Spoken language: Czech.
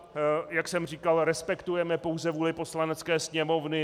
Jak jsem říkal, respektujeme pouze vůli Poslanecké sněmovny.